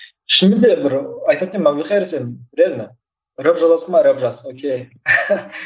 шынымен де бір айтатын едім әбілқайыр сен реально рэп жазасың ба рэп жаз ок